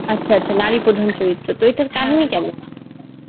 আচ্ছা আচ্ছা নারী প্রধান চরিত্র তো, এইটার কাহিনী কেমন?